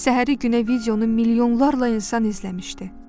Səhəri günə videonu milyonlarla insan izləmişdi.